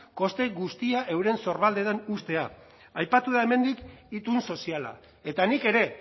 koste guztia euren sorbaldetan uztea aipatu da hemendik itun soziala eta nik ere